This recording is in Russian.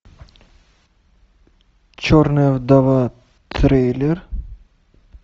черная вдова трейлер